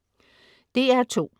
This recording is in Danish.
DR2: